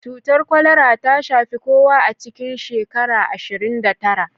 Cutar kwalara ta shafi kowa a cikin shekara ashirin da tara